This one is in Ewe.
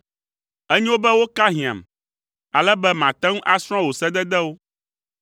Enyo be woka hiãm, ale be mate ŋu asrɔ̃ wò sededewo.